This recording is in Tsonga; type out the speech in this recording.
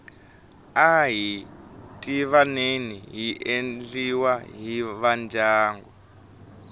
ahi tivaneni yi endliwa hi vandyangu